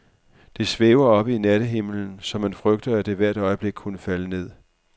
Det svæver oppe i nattehimlen, så man frygter, at det hvert øjeblik kunne falde ned.